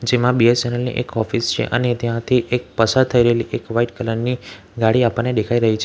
એમાં બી_એસ_એન_એલ ની એક ઑફિસ છે અને ત્યાંથી એક પસાર થઈ રેલી એક વ્હાઈટ કલર ની ગાડી આપણને દેખાય રહી છે.